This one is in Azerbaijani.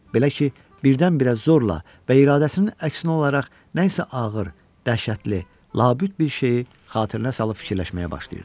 Belə ki, birdən-birə zorla və iradəsinin əksinə olaraq nə isə ağır, dəhşətli, labüd bir şeyi xatirinə salıb fikirləşməyə başlayırdı.